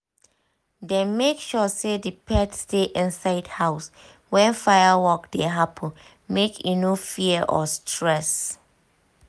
dem make sure say the pet stay inside house when firework dey happen make e no fear or stress